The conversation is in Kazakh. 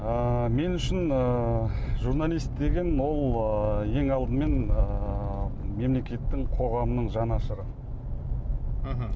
ыыы мен үшін ыыы журналист деген ол ыыы ең алдымен ыыы мемлекеттің қоғамның жанашыры мхм